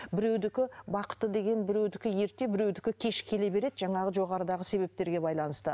біреудікі бақыты деген біреудікі ерте біреудікі кеш келе береді жаңағы жоғарыдағы себептерге байланысты